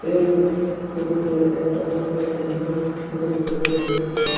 এই ফোটোট একটা বড় করা বিল্ডিংয়ের ফটো বটে যে বিল্ডিং -ট--